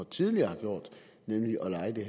tidligere har gjort nemlig at leje det